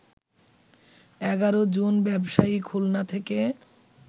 ১১ জন ব্যবসায়ী খুলনা থেকে